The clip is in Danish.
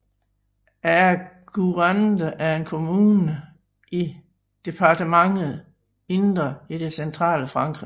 Aigurande er en kommune i departementet Indre i det centrale Frankrig